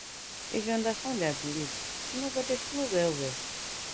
if u understand dia belief una go det flow well wel